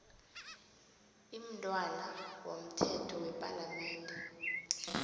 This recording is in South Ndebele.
imntwana womthetho wepalamende